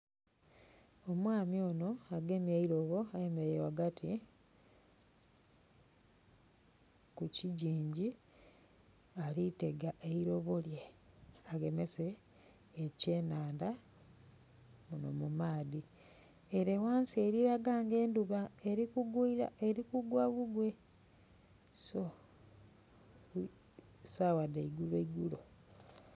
Omwami ono agemye eilobo ayemereire ghagati ku kigingi alitega eilobo lye agemese ekyenhandha muno mu maadhi. Ere ghansi elikulaga nga endhuba eli kugwa bugwe so saagha dheigulo iigulo.